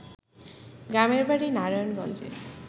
গ্রামের বাড়ি নারায়ণগঞ্জে